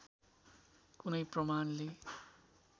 कुनै प्रमाणले